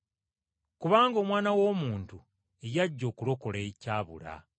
Kubanga Omwana w’Omuntu yajja okulokola ekyabula .